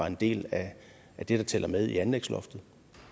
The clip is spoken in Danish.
en del af det der tæller med i anlægsloftet